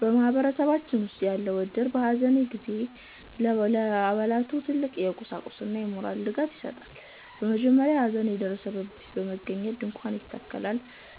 በማህበረሰባችን ውስጥ ያለው እድር፣ በሐዘን ጊዜ ለአባላቱ ትልቅ የቁሳቁስና የሞራል ድጋፍ ይሰጣል። በመጀመሪያ ሐዘን በደረሰበት ቤት በመገኘት ድንኳን ይተከላል፤